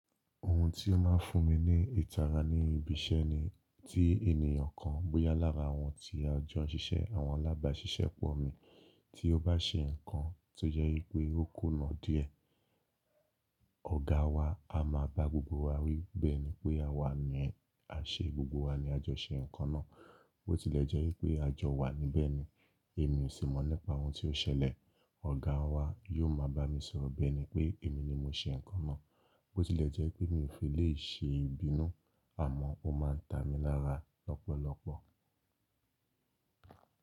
Ohun tí ó máa ń fún mi ní ìtara ní ibi iṣẹ́ ni tí ènìyàn kan bóyá lára àwọn tí a jọ ń ṣiṣẹ́ àwọn alábàáṣiṣẹ́ pọ̀ mí, tí ó bá ṣe nǹkan tó jẹ́ pé ó kó náà díẹ̀, ọ̀gá wa a máa bá gbogbo wa wí bi eni pé àwa ni à ṣe, gbogbo wa ni a jọ ṣe nǹkan náà. Bó tilẹ̀ jẹ́ pé a jọ wà níbẹ̀ ni, èmi ò sì mọ̀ nípa ohun tó ṣẹlẹ̀, ọ̀gá wa yóò máa bá mi sọ̀rọ̀ bi ẹni pé èmi ni mo ṣe nǹkan náà. Bó tilẹ̀ jẹ́ pé mi ò fi lè ṣe ìbínú, àmọ́ ó máa ń ta mi lára lọ́pọ̀lọpọ̀.